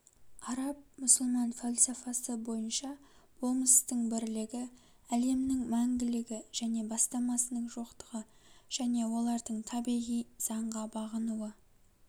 араб-мұсылман фальсафасы бойынша болмыстың бірлігі әлемнің мәңгілігі және бастамасының жоқтығы және олардың табиғи заңға бағынуы